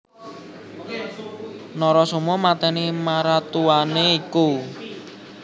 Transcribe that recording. Narasoma matèni maratuwané iku